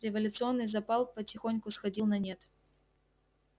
революционный запал потихоньку сходил на нет